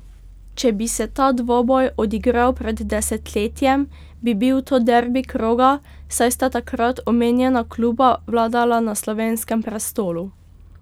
Če bi se ta dvoboj odigral pred desetletjem, bi bil to derbi kroga, saj sta takrat omenjena kluba vladala na slovenskem prestolu.